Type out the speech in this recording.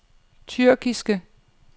tyrkiske